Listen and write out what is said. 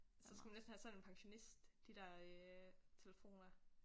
Så skulle man næsten have sådan en pensionist de der øh telefoner